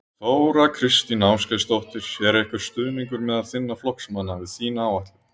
Þóra Kristín Ásgeirsdóttir: Er einhver stuðningur meðal þinna flokksmanna við þína áætlun?